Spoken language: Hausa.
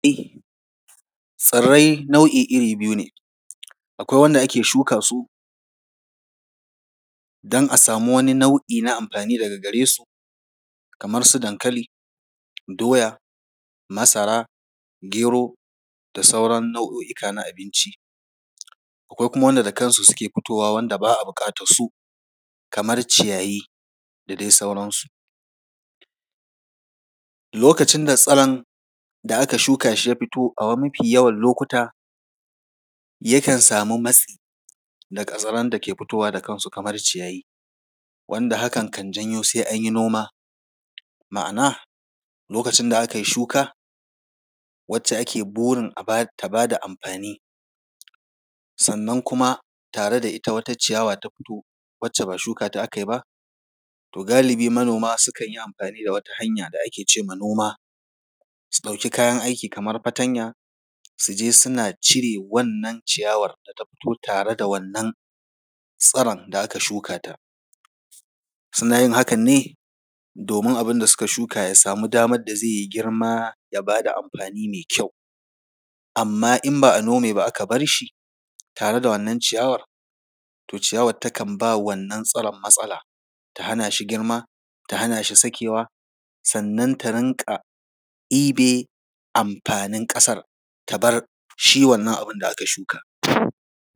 Tsirrai nau’i iri biyu ne: akwai wanda ake shuka su don a samu wani nau’i na amfani daga gare su kamar su dankali, doya, masara, gero da sauran nau’o’ika na abinci. Akwai kuma wanda da kansu suke fitowa, wanda ba a buƙatarsu kamar ciyayi da dai sauransu. Lokacin da tsiron da aka shuka shi ya fito a yawan mafi lokuta, yakan samu matsi na ƙazaran da ke fitowa da kansu kamar ciyayi, wanda hakan kan janyo sai an yi noma. Ma’ana, lokacin da aka yi shuka, wacce ake burin ta ba da amfani, sannan kuma tare da ita wata ciyawa ta fito, wacce ba shuka ta aka yi ba, to galibi, manoma sukan yi amfani da wata hanya da ake ce ma noma, su ɗauki kayan aiki kamar fatanya, su je suna cire wannan ciyawar da ta fito tare da wannan tsiron da aka shuka ta. Suna yin hakan ne domin abinda aka shuka ya samu damar da zai yi girma, ya ba da amfani mai kyau. Amma in ba a nome ba aka bar shi tare da wannan ciyawar, to ciyawar tana ba wannan tsiron matsala, ta hana shi girma, ta hana shi sakewa, sannan ta rinƙa ɗibe amfanin ƙasar, ta bar shi wannan abin da aka shuka.